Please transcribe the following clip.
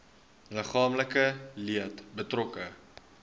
liggaamlike leed betrokke